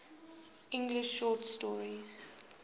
english short story